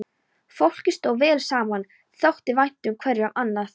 Fólkið stóð vel saman, þótti vænt hverju um annað.